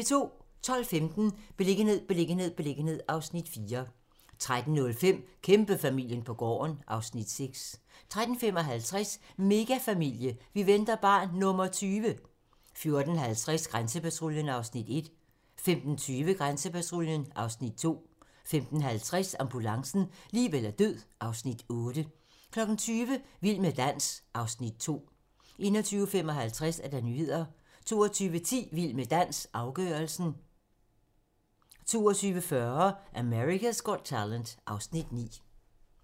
12:15: Beliggenhed, beliggenhed, beliggenhed (Afs. 4) 13:05: Kæmpefamilien på gården (Afs. 6) 13:55: Megafamilie - vi venter barn nr. 20! 14:50: Grænsepatruljen (Afs. 1) 15:20: Grænsepatruljen (Afs. 2) 15:50: Ambulancen - liv eller død (Afs. 8) 20:00: Vild med dans (Afs. 2) 21:55: Nyhederne 22:10: Vild med dans - afgørelsen 22:40: America's Got Talent (Afs. 9)